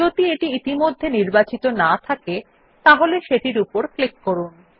যদি এটি ইতিমধ্যে নির্বাচিত না থাকে তাহলে সেটির উপর ক্লিক করুন